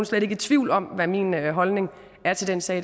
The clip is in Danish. slet ikke i tvivl om hvad min holdning er til den sag